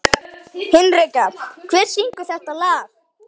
Hinrikka, hver syngur þetta lag?